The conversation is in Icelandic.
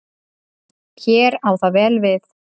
Hér á það vel við.